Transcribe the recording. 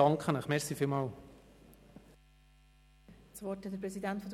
Der Kommissionspräsident hat das Wort.